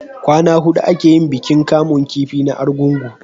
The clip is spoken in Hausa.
kwana hudu a ke yin bikin kamun kifi na argungu